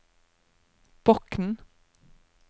Bokn